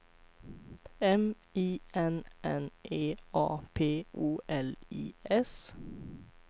M I N N E A P O L I S